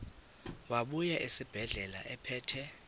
wabuya esibedlela ephethe